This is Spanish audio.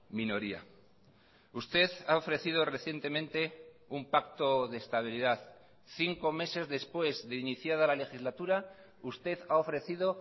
minoría usted ha ofrecido recientemente un pacto de estabilidad cinco meses después de iniciada la legislatura usted ha ofrecido